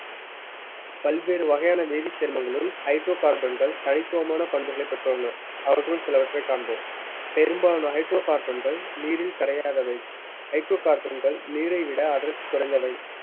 பல்வேறு வகையான வேதிச் சேர்மங்களுள் hydrocarbon கள் தனித்துவமான பண்புகளைப் பெற்றுள்ளன அவற்றுள் சிலவற்றைக் காண்போம் பெரும்பாலும் hydrocarbon கள் நீரில் கரையாதவை hydrocarbon கள் நீரை விட அடர்த்தி குறைந்தவை